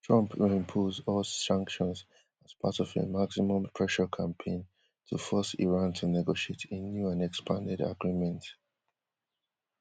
trump reimpose us sanctions as part of a maximum pressure campaign to force iran to negotiate a new and expanded agreement